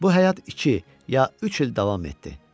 Bu həyat iki ya üç il davam etdi.